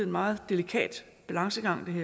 meget delikat balancegang